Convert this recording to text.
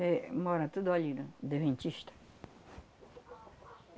Éh, mora tudo ali na Deventista.